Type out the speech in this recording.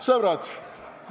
Sõbrad!